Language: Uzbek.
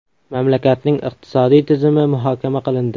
Mamlakatning iqtisodiy tizimi muhokama qilindi.